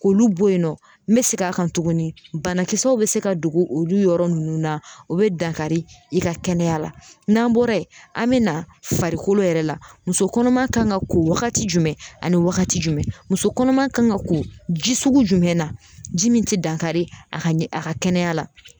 K'olu bɔ yen nɔ n me segin a kan tuguni bana kisɛw be se ka don olu yɔrɔ nunnu na o be dankari i ka kɛnɛya la n'an bɔra yen an be na farikolo yɛrɛ la muso kɔnɔma kan ka ko wagati jumɛn ani wagati jumɛn muso kɔnɔma kan ga ko ji sugu jumɛn na ji min te dankari a ka ɲɛ a ka kɛnɛya la